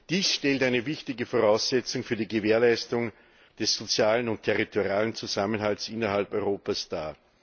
Dies stellt eine wichtige Voraussetzung für die Gewährleistung des sozialen und territorialen Zusammenhalts innerhalb Europas dar.